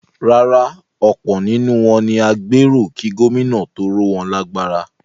Rárá, ọ̀pọ̀ nínú wọn ni agbéró kí Gómìnà tó ró wọn lágbára.